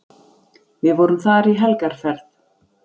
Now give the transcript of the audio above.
Við vorum þar í helgarferð.